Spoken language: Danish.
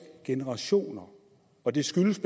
generationer og det skyldes